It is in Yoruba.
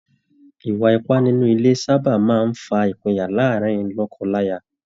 Ìwà ipá nínú ilé sáábà máa ń fa ìpinyà láàárin lọ́kọ-láya